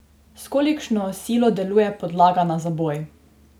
S kolikšno silo deluje podlaga na zaboj?